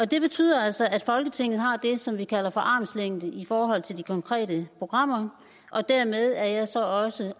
det betyder altså at folketinget har det som vi kalder for armslængde i forhold til de konkrete programmer og dermed er jeg så også